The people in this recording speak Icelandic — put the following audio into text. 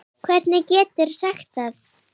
Hvernig geturðu sagt það?